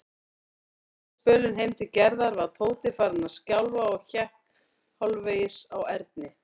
Seinasta spölinn heim til Gerðar var Tóti farinn að skjálfa og hékk hálfvegis á Erni.